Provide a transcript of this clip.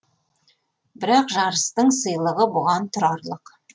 бірақ жарыстың сыйлығы бұған тұрарлық